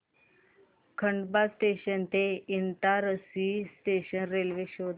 Khandwa junction ते Itarsi junction railway show कर